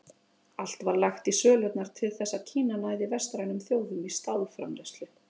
Allt var lagt í sölurnar til þess að Kína næði vestrænum þjóðum í stálframleiðslu.